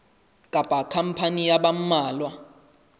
kapa khampani ya ba mmalwa